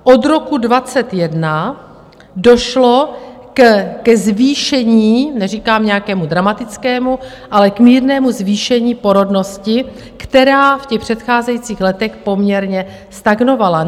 Od roku 2021 došlo ke zvýšení, neříkám nějakému dramatickému, ale k mírnému zvýšení porodnosti, která v těch předcházejících letech poměrně stagnovala.